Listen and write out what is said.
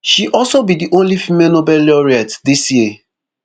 she also be di only female nobel laureate dis year